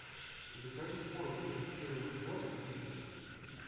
закажи корм для кастрированных кошек вискас